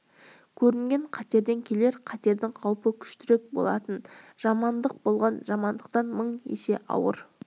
көрінген қатерден келер қатердің қаупі күштірек болатын жамандық болған жамандықтан мың есе ауыр